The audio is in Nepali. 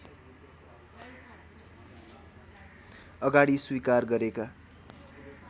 अगाडि स्वीकार गरेका